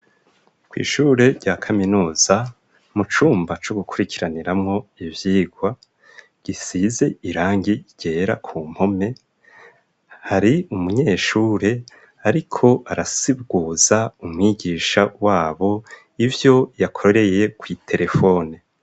Kw'ishure rya kaminuza mu cumba co gukurikiraniramwo ivyigwa gisize irangi ryera ku mpome hari umunyeshure ariko arasiguza umwigisha wabo ivyo yakoreye kw'iterefone.